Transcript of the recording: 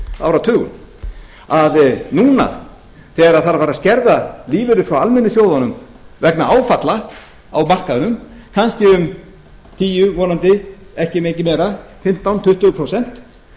áratugum að núna þegar þarf að fara að skerða lífeyri frá almennu sjóðunum vegna áfalla á markaðnum kannski um tíu prósent vonandi ekki mikið meira fimmtán tuttugu prósent